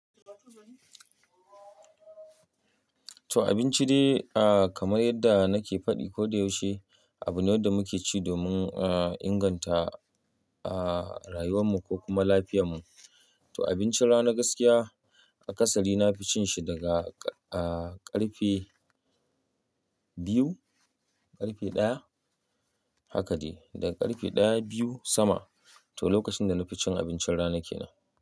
To abinci dai kamar yadda nake faɗi kodayaushe, abu ne da muke ci domin a inganta a rayuwanmu ko kuma lafiyarmu. To abincin rana gaskiya akasali na fi cin shi daga a ƙarfe biyu, ƙarfe ɗaya haka ce, daga ƙarfe ɗaya, biyu sama. To lokacin da na fi cin abincin rana ke nan.